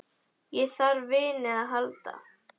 Ég þarf á vini að halda.